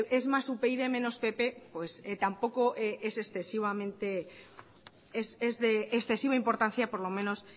es más upyd menos pp pues tampoco es de excesiva importancia por lo menos